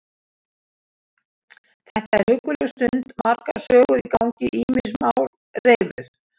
Þetta er hugguleg stund, margar sögur í gangi, ýmis mál reifuð.